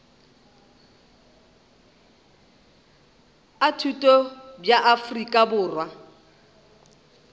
a thuto bja afrika borwa